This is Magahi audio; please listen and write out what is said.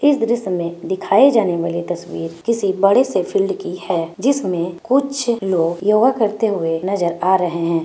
इस दृश्य मे दिखाई जाने वाले तस्वीर किसी बड़े से फील्ड की हैं जिसमे कुछ लोग योगा करते हुए नजर आ रहे हैं ।